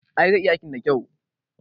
I, zai iya aikin da kyau